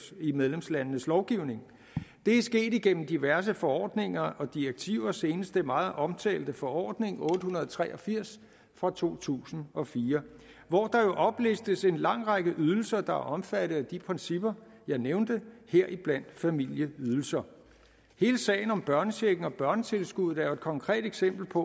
i medlemslandenes lovgivning det er sket gennem diverse forordninger og direktiver senest den meget omtalte forordning otte hundrede og tre og firs fra to tusind og fire hvori der jo oplistes en lang række ydelser der er omfattet af de principper jeg nævnte heriblandt familieydelser hele sagen om børnechecken og børnetilskuddet er jo et konkret eksempel på